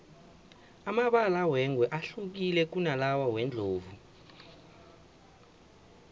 amabala wengwe ahlukile kunalawa wendlovu